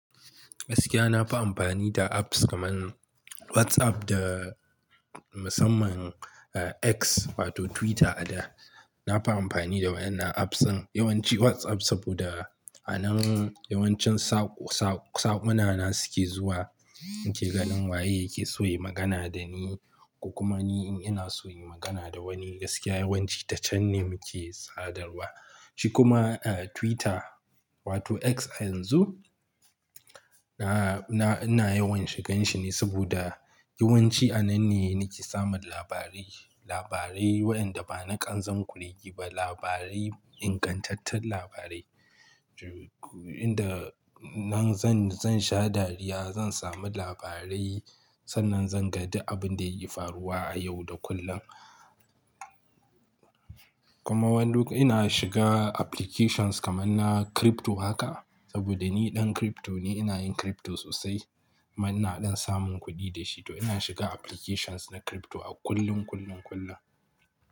Gaskiya na fi amfani da apps kamar WhatsApp da musamman X wato Twitter a da. Na fi amfani da waɗannan apps ɗin yawanci WhatsApp saboda a nan yawancin sakwannina suke zuwa. Nake ganin waye yake so ya yi magana da ni ko kuma ni in ina so in yi magana da wani gaskiya yawanci ta can ne muke sadarwa. Shi kuma Twitter wato X a yanzu ina yawan shigar shi ne saboda yawanci a nan ne nake samun labarai, labarai waɗanda ba na kanzon kurege ba, labarai ingantattun labarai. Inda nan zan, zan sha dariya, zan samu labarai sannan zan ga duk abin da yake faruwa a yau da kullum. Kuma wani lokaci ina shiga applications kamar na crypto haka saboda ni ɗan crypto ne, ina yin crypto sosai kuma ina ɗan samun kuɗi da shi to ina shiga applications na crypto a kullum, kullum, kullum.